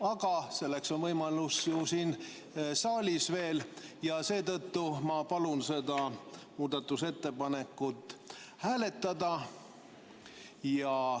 Aga selleks on siin saalis veel võimalus ja seetõttu ma palun seda muudatusettepanekut hääletada.